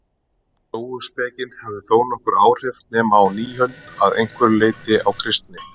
Stóuspekin hafði þónokkur áhrif snemma á nýöld og að einhverju leyti á kristni.